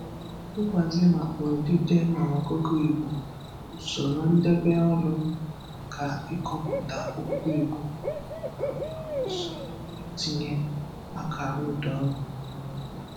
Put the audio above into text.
mgbazi maka odide na ọgụgụ Igbo, usoro ndebe olu maka ịkpọpụta okwu Igbo, nakwa usoro itinye akara ụdaolu n'okwu.